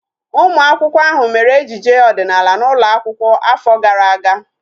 Ụmụ akwụkwọ ahu mere ejije ọdịnala n'ụlọ akwụkwọ afọ gara aga